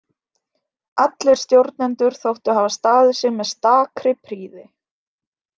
Allir stjórnendur þóttu hafa staðið sig með stakri prýði.